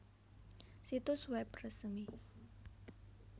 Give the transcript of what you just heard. Situs web resmi